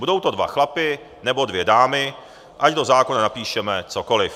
Budou to dva chlapi nebo dvě dámy, ať do zákona napíšeme cokoliv.